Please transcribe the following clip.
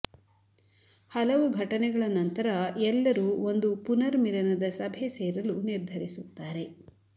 ಹಲವು ಘಟನಗಳ ನಂತರ ಎಲ್ಲರೂ ಒಂದು ಪುನರ್ಮಿಲನದ ಸಭೆ ಸೇರಲು ನಿರ್ಧರಿಸುತ್ತಾರೆ